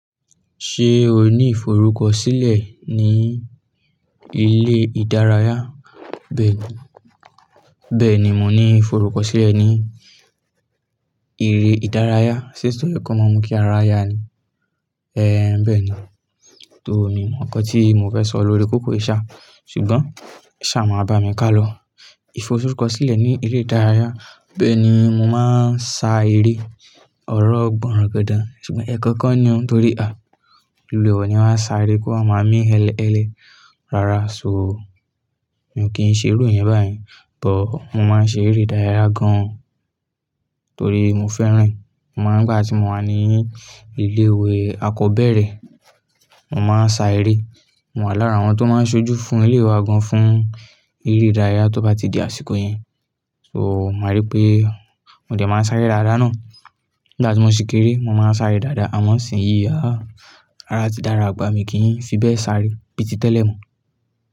Ṣé o ní ìforúkọ sílẹ̀ ní ilé ìdárayá? Bẹ́ẹ̀ni, bẹ́ẹ̀ni mò ní ìforúkọ sílẹ̀ ní ilé ìdárayá. Sé èso ye ko máa mú kí ara ya ni? Ẹ̀hẹ́n, bẹ́ẹ̀ ni. Tó, mi mo ǹkan tí mo fẹ́ sọ lórí kókó ìṣá, ṣùgbọ́n e ṣá máa bá mi ká lọ. Ìforúkọ sílẹ̀ ní ilé ìdárayá, bẹ́ẹ̀ ni mo máa ń sa eré ọ̀rọ̀ gborangandan, ṣùgbọ́n ẹ̀ kankan ni o, torí à, oluwa e oni wa sa eré kí o wa máa mí eleele. Rárá, ṣo, mi ò kí n ṣe irú ìyẹn bá yen but mo máa ń ṣe eré ìdárayá gan-an torí mo fẹ́ràn rẹ̀. Mo máa ń, nígbà tí mo wà ní ilé ìwé akọ́beẹ́rẹ̀, mo máa ń sa eré. Mo wà lára àwọn tó máa ń ṣojú fún ilé ìwé wa gan-an fún eré ìdárayá tó bá ti di àsìkò iyen. So, màá rí pé mo dẹ̀ máa ń sáré dáadáa náà. Nígbà tí mo ṣì kéré, mo máa ń sáré dáadáa, àmọ́ ṣìnyí, àá, ara ti dára, àgbà mi kì í fi bẹ́ẹ̀ sáré bíi ti tẹ́lẹ̀ mọ́.